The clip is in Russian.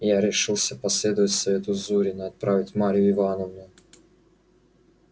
я решился последовать совету зурина отправить марью ивановну